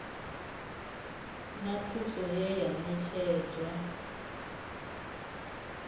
na thuso ye ya ṋetshedzwa